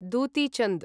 Dutee Chand